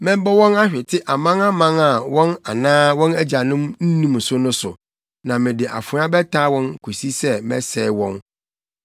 Mɛbɔ wɔn ahwete amanaman a wɔn anaa wɔn agyanom nnim so no so, na mede afoa bɛtaa wɔn kosi sɛ mɛsɛe wɔn.”